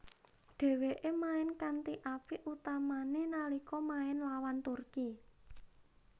Dheweke main kanthi apik utamane nalika main lawan Turki